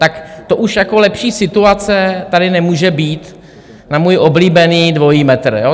Tak to už jako lepší situace tady nemůže být na můj oblíbený dvojí metr, jo?